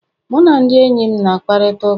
Mụ na ndị enyi m na-akparịta ụka